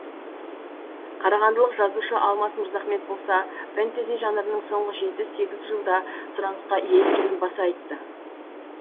қарағандылық жазушы алмаз мырзахмет болса фентези жанрының соңғы жеті сегіз жылда сұрансықа ие екенін баса айтты